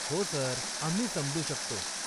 हो, सर, आम्ही समजू शकतो.